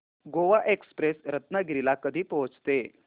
Goa express Ratnagiri ला कधी पोहचते